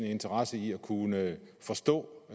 interesse i at kunne forstå